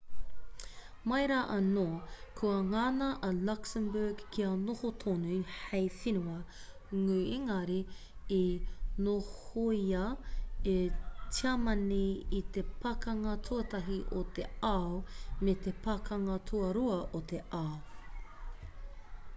mai rā anō kua ngana a luxembourg kia noho tonu hei whenua ngū engari i nohoia e tiamani i te pakanga tuatahi o te ao me te pakanga tuarua o te ao